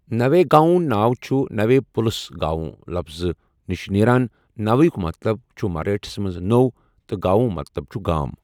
نوے گاؤں' ناو چھُ نوے پُلسَ گاؤں لفظٕ نِش نیران، نوے ہٗک مطلب چھُ مراٹھِس مَنٛز نوٚو تہٕ گاؤں مطلب چھُ گام۔